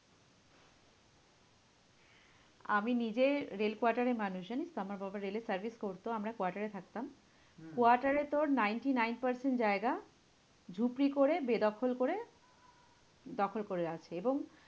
আমি নিজে rail quarter এ মানুষ জানিস তো? আমার বাবা রেল এ service করতো, আমরা quarter এ থাকতাম। quarter এ তোর ninety-nine percent জায়গা ঝুপড়ি করে বেদখল করে দখল করে আছে এবং